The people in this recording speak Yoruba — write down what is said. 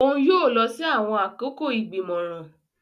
Òún yóò lọ si awọn akoko igbimọran.